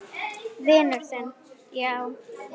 Vinur þinn, já?